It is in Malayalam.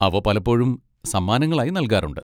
അവ പലപ്പോഴും സമ്മാനങ്ങളായി നൽകാറുണ്ട്.